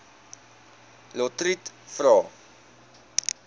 lotriet vra